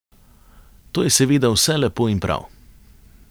To je seveda vse lepo in prav.